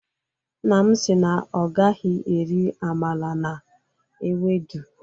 Nna m si na ọ gaghi eri amala na ewedu